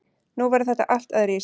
Nú verður þetta allt öðruvísi.